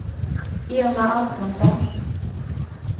Irma Antonsson